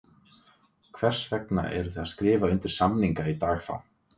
Hvers vegna eruð þið að skrifa undir samninga í dag þá?